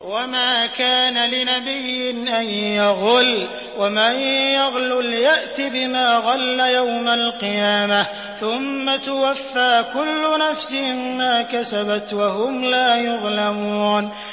وَمَا كَانَ لِنَبِيٍّ أَن يَغُلَّ ۚ وَمَن يَغْلُلْ يَأْتِ بِمَا غَلَّ يَوْمَ الْقِيَامَةِ ۚ ثُمَّ تُوَفَّىٰ كُلُّ نَفْسٍ مَّا كَسَبَتْ وَهُمْ لَا يُظْلَمُونَ